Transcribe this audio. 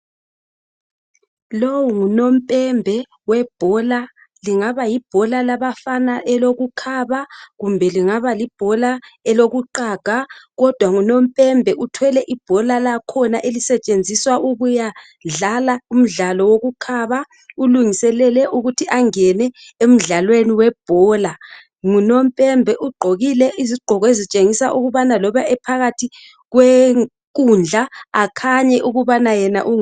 Lo ngunompdbhe webhola kungaba libhola labafana elokukhaba kumbe kungaba libhola eloku qhaga kodwa ngunompembe ibhola lakhona elisetshenziswa ukuya dlala umdlalo wokukhaba ulungiselele ukuthi angene emdlalweni webhola ngunompembe ugqokile izigqoko ezitshengisa ukubana noba engunompembe ephakathi kwenkudla akhanye